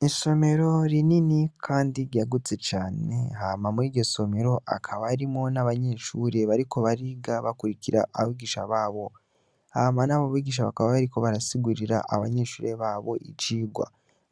N'isomero rinini kandi ryagutse cane hama muriryo somero hakaba harimwo n'abanyeshure bariko bariga bakurikira abigisha babo, hama nabo bigisha bakaba bariko barasigurira abanyeshure babo icigwa,